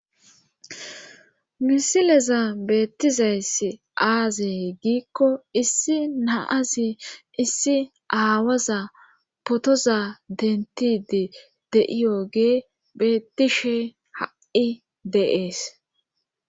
Misileza beettiza iss aaze giikko issi naasi issi aawaza potoza dentidi de'iyogee bettishe ha'i dees.